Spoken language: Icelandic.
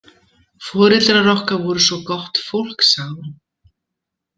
Foreldrar okkar voru svo gott fólk, sagði hún.